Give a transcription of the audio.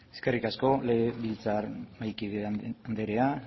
eskerrik asko legebiltzar mahaikide andrea